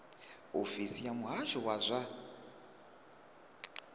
ofisi ya muhasho wa zwa